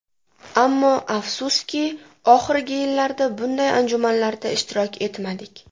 Ammo, afsuski, oxirgi yillarda bunday anjumanlarda ishtirok etmadik.